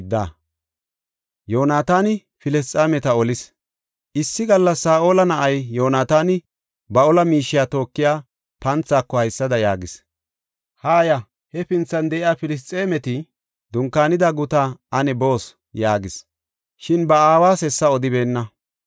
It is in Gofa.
Issi gallas Saa7ola na7ay Yoonataani ba ola miishiya tookiya panthaako haysada yaagis; “Haaya; hefinthan de7iya Filisxeemeti dunkaanida gutaa ane boos” yaagis. Shin ba aawas hessa odibeenna.